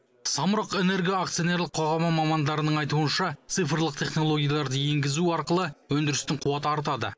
самұрық энерго акционерлік қоғамы мамандарының айтуынша цифрлық технологияларды енгізу арқылы өндірістің қуаты артады